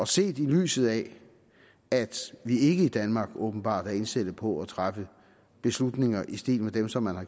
set i lyset af at vi i danmark åbenbart ikke er indstillet på at træffe beslutninger i stil med dem som man har